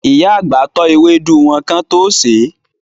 Ìyá àgbà tọ́ ewédú wọn kán tó sèé.